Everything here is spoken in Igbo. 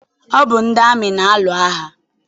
Ọ bụ ndị amị na-alụ agha.